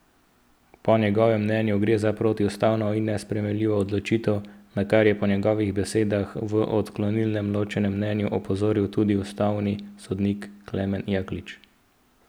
Po njegovem mnenju gre za protiustavno in nesprejemljivo odločitev, na kar je po njegovih besedah v odklonilnem ločenem mnenju opozoril tudi ustavni sodnik Klemen Jaklič.